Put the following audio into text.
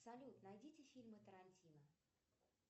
салют найдите фильмы тарантино